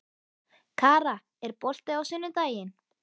Kara, er bolti á sunnudaginn?